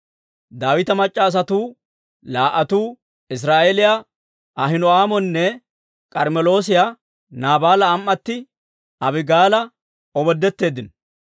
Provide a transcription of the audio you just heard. Daawita mac'c'a asatuu laa"atuu, Iziraa'eeliyaa Ahino'aamonne K'armmeloosiyaa Naabaala am"atti Abigaala omoodetteeddino.